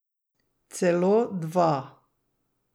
Celo dva.